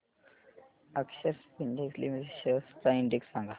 अक्षर Spintex limited shares चा index सांगा